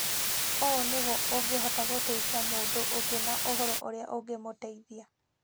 Ũũ nĩguo ũngĩhota gũteithia mũndũ ũngĩ na ũhoro ũrĩa ũngĩmũteithia.